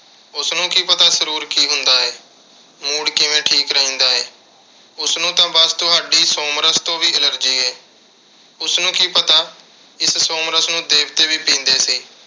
ਉਸਨੂੰ ਕੀ ਪਤਾ ਸਰੂਰ ਕੀ ਹੁੰਦਾ ਏ। mood ਕਿਵੇਂ ਠੀਕ ਰਹਿੰਦਾ ਏ। ਉਸਨੂੰ ਤਾਂ ਬੱਸ ਤੁਹਾਡੀ ਸੋਮਰਸ ਤੋਂ ਵੀ allergy ਏ। ਉਸਨੂੰ ਕੀ ਪਤਾ ਇਸ ਸੋਮਰਸ ਨੂੰ ਦੇਵਤੇ ਵੀ ਪੀਂਦੇ ਸੀ।